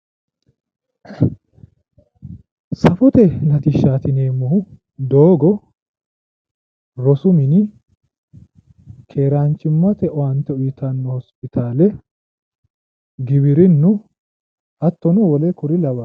Safote latishshaati yinneemmohu doogo, rosu mini keeranchimmate owaante uyittanno hosipitaale giwirinnu hattono wole kuri lawannoreeti